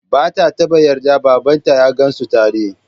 Ba ta taɓa yarda babanta ya gansu tare.